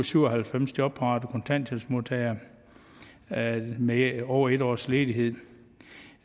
syv og halvfems jobparate kontanthjælpsmodtagere med over en års ledighed